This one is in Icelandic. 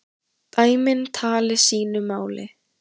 Dæmin tali sínu máli.